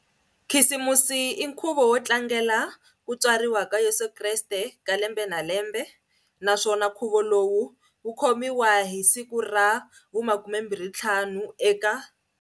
Khisimusi i nkhuvo wo tlangela ku tswariwa ka Yesu Kreste, ka lembe na lembe, naswona nkhuvo lowu wu khomiwa hi siku ra vu 25 eka.